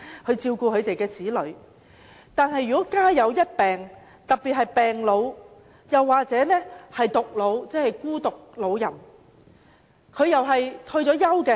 可是，有些情況是"家有一病"，特別是病老；還有一些是獨老，即孤獨老人的情況。